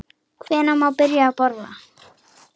Hvenær má byrja að borða?